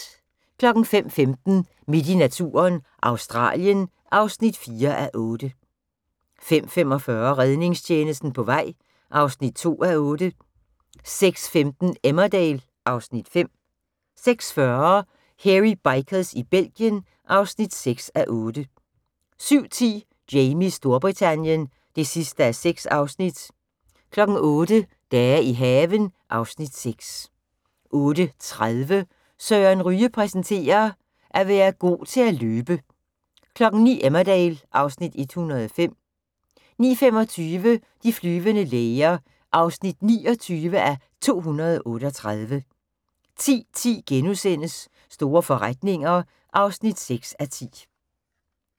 05:15: Midt i naturen – Australien (4:8) 05:45: Redningstjenesten på vej (2:8) 06:15: Emmerdale (Afs. 5) 06:40: Hairy Bikers i Belgien (6:8) 07:10: Jamies Storbritannien (6:6) 08:00: Dage i haven (Afs. 6) 08:30: Søren Ryge præsenterer: At være god til at løbe 09:00: Emmerdale (Afs. 105) 09:25: De flyvende læger (29:238) 10:10: Store forretninger (6:10)*